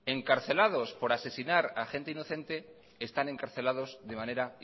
encarcelados por asesinar a gente inocente están encarcelados de manera